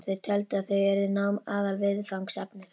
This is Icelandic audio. Þau töldu að þar yrði nám aðalviðfangsefni þeirra.